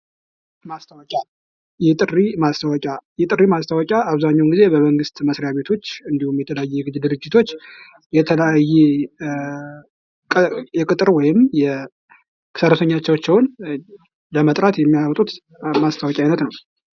ማስታወቂያ ፡-የጥሪ ማስታወቂያ ብዙውን ጊዜ በመስሪያ ቤት እንዲሁም በግል ድርጅቶች ሰራተኞቻቸውን ለመጥራት የሚያወጡት ነው ።